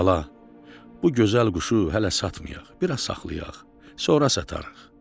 "Bala, bu gözəl quşu hələ satmayaq, biraz saxlayaq, sonra satarıq."